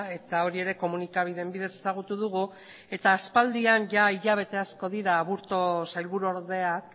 eta hori ere komunikabideen bidez ezagutu dugu eta aspaldian ia hilabete asko dira aburto sailburuordeak